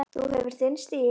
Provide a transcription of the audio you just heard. Þú hefur þinn stíl.